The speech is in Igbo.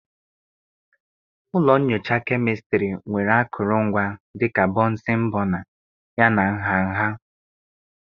Ụlọ nyocha kemịstrị nwere akụrụngwa dị ka bọnsịn bọna, yana nha nha.